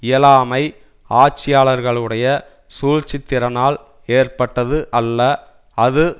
இயலாமை ஆட்சியாளர்களுடைய சூழ்ச்சித்திறனால் ஏற்பட்டது அல்ல அது